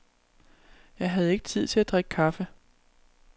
Jeg havde ikke tid til at drikke kaffe.